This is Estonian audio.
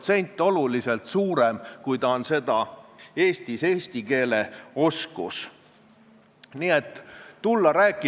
Pigem, lähtudes pluralismist ja sellest, kuidas me suudame kõiki asju tõlgendada, ütlen ma: hea Heimar, ma ei ole koer, vähemalt mitte sinu jaoks, aga sa ütled mulle: "Koht!